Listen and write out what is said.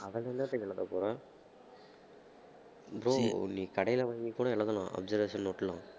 அதுல என்னத்துக்கு எழுதப்போறேன் bro நீ கடையில வாங்கி கூட எழுதலாம் observation note லாம்